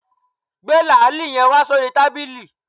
Gbé làálì yen wá sórí tábìlì